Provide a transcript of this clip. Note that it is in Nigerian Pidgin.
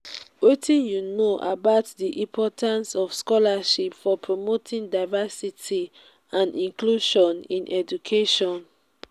wetin you know about di importance of scholarships for promoting diversity and inclusion in education?